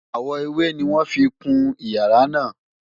Àwọ̀ ewé ni wọ́n fi kun ìyàrá náà